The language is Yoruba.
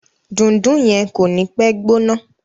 Dundun yen ko ni pe gbóná.